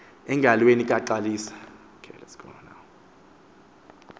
engalweni ka xalisa